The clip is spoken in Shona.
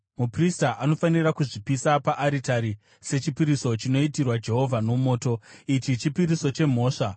Muprista anofanira kuzvipisa paaritari sechipiriso chinoitirwa Jehovha nomoto. Ichi chipiriso chemhosva.